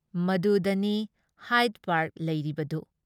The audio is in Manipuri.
ꯃꯗꯨꯗꯅꯤ ꯍꯥꯏꯗ ꯄꯥꯔꯛ ꯂꯩꯔꯤꯕꯗꯨ ꯫